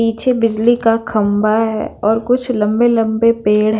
पीछे बिजली का खंबा हैं और कुछ लंबे-लंबे पेड़ हैं।